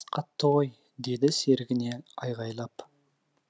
бас қатты ғой деді серігіне айғайлап